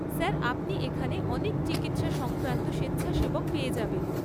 Sir আপনি এখানে অনেক চিকিৎসা সংক্রান্ত স্বেচ্ছাসেবক পেয়ে যাবেন।